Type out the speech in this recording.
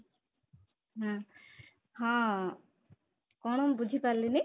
ଏଂ ହଁ, କଣ ମୁଁ ବୁଝିପାରିଲିନି